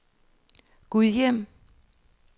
Gudhjem